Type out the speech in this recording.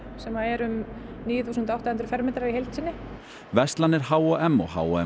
sem eru um níu þúsund átta hundruð fermetrar í heild sinni verslanir h m og h m